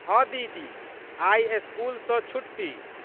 हँ दीदी। आइ स्कूल सँ छुट्टी।